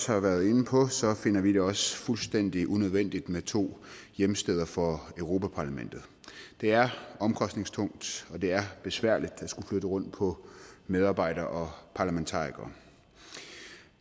har været inde på finder vi det også fuldstændig unødvendigt med to hjemsteder for europa parlamentet det er omkostningstungt og det er besværligt at skulle flytte rundt på medarbejdere og parlamentarikere